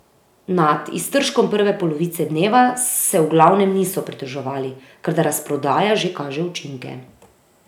Nad iztržkom prve polovice dneva se v glavnem niso pritoževali, ker da razprodaja že kaže učinke.